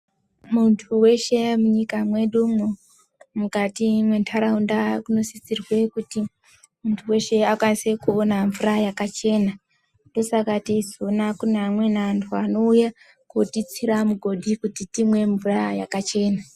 Muntu weshe munyika mwedumwo mukati mwentaraunda munosisirwe kuti muntu muntu weshe akwanise kuona mvura yakachena, ndosaka teizoona kune amweni antu anouya kotitsira migodhi kuti timwe mvura yakachena.